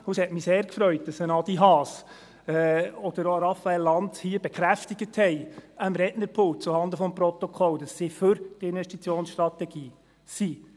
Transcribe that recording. – Es hat mich sehr gefreut, dass ein Adi Haas oder auch ein Raphael Lanz hier am Rednerpult zuhanden des Protokolls bekräftigten, dass sie für die Investitionsstrategie sind.